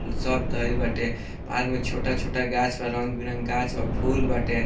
सब धइल बाटे। पार्क में छोटा-छोटा गाछ बा रंग-बिरंग गाछ बा फूल बाटे।